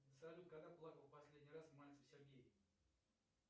салют когда плакал последний раз мальцев сергей